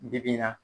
Bi bi in na